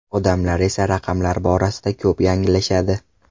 Odamlar esa raqamlar borasida ko‘p yanglishadi.